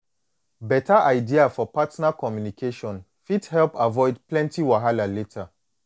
beta idea for partner communication fit help avoid plenty wahala later